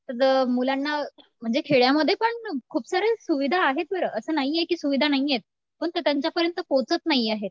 तर मुलांना म्हणजे खेड्यामध्येपण खूप साऱ्या सुविधा आहेत बरं असं नाही ये की सुविधा नाहीयेत. परंतु त्यांच्यापर्यंत पोहचत नाहीयेत.